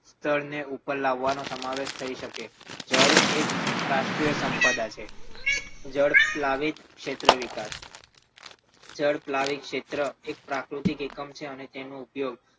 ને ઉપર લાવવાનો સમાવેશ થઈ શકે છે જળ એક રાષ્ટ્રીય સંપદા છે જળ ઉપલાદિત ક્ષેત્રે વિકાસ જળ ઉપલાદિત ક્ષેત્ર એક પ્રાકૃતિક એકમ છે અને તેનો ઉપયોગ